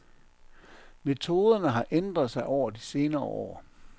Metoderne har ændret sig over de senere år.